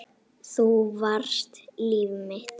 Þú varst líf mitt.